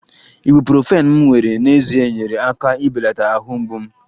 ibuprofen m were n'ezie nyeere aka ibelata ahụ mgbu m